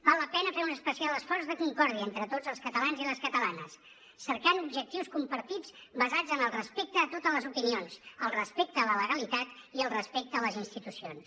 val la pena fer un especial esforç de concòrdia entre tots els catalans i les catalanes cercant objectius compartits basats en el respecte a totes les opinions el respecte a la legalitat i el respecte a les institucions